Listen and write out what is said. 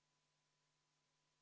Eelnõu 216 on seadusena vastu võetud.